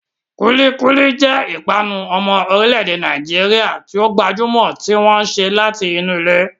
Kulikuli jẹ́ ìpanu ọmọ orílẹ̀-èdè Nàìjíríà tí ó gbajúmọ̀ tí wọ́n ṣe láti inú ilẹ̀.